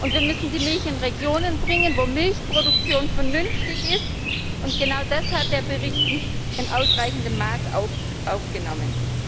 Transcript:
Wir müssen die Milch in Regionen bringen, wo Milchproduktion vernünftig ist, und genau das hat der Bericht nicht in ausreichendem Maß aufgenommen.